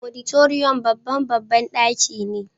Auditorium babban babban daki ne.